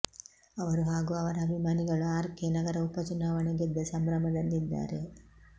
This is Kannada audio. ಅವರು ಹಾಗೂ ಅವರ ಅಭಿಮಾನಿಗಳು ಆರ್ ಕೆ ನಗರ ಉಪಚುನಾವಣೆ ಗೆದ್ದ ಸಂಭ್ರಮದಲ್ಲಿದ್ದಾರೆ